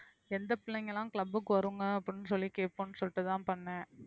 எந்த பிள்ளைங்க எல்லாம் club க்கு வருங்க அப்படின்னு சொல்லி கேட்போம்ன்னு சொல்லிட்டுதான் பண்ணேன்